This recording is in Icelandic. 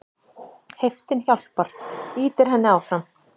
Heiftin hjálpar, ýtir henni áfram.